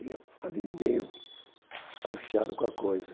E eu ali meio desconfiado com a coisa.